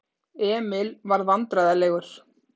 Emil varð vandræðalegur.